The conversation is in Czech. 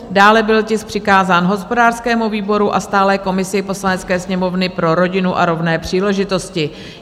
Dále byl tisk přikázán hospodářskému výboru a stálé komisi Poslanecké sněmovny pro rodinu a rovné příležitosti.